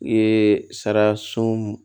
I ye sara sun